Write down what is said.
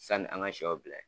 Sani an ka sɛw bila.